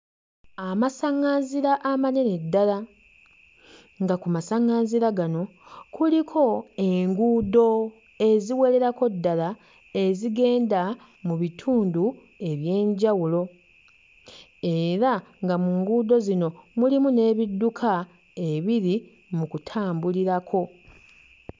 Amasaᵑᵑanzira amanene ddala nga ku masaᵑᵑanzira gano kuliko enguudo eziwererako ddala ezigenda mu bitundu eby'enjawulo era nga mu nguudo zino mulimu n'ebidduka ebiri mu kutambulirako.